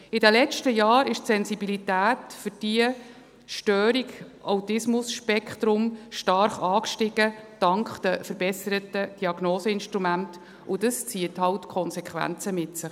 In den letzten Jahren ist die Sensibilität für diese ASS stark angestiegen, dank den verbesserten Diagnoseinstrumenten, und dies zieht eben Konsequenzen nach sich.